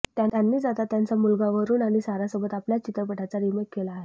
त्यांनीच आता त्यांचा मुलगा वरूण आणि सारासोबत आपल्याच चित्रपटाचा रिमेक केला आहे